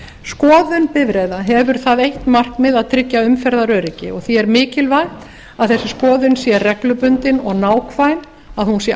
skoðun bifreiða hefur það eitt markmið að tryggja umferðaröryggi og því er mikilvægt að þessi skoðun sé reglubundin og nákvæm að hún sé